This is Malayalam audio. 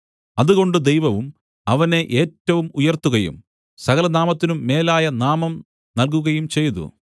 അതുകൊണ്ട് ദൈവവും അവനെ ഏറ്റവും ഉയർത്തുകയും സകലനാമത്തിനും മേലായ നാമം നൽകുകയും ചെയ്തു